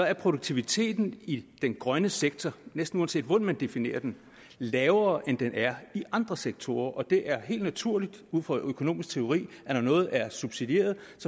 er produktiviteten i den grønne sektor næsten uanset hvordan man definerer den lavere end den er i andre sektorer og det er helt naturligt ud fra økonomisk teori når noget er subsidieret